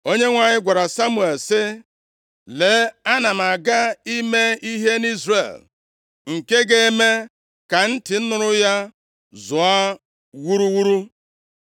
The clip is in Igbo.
Onyenwe anyị gwara Samuel sị, “Lee, ana m aga ime ihe nʼIzrel nke ga-eme ka ntị nụrụ ya zụọ wuruwuru.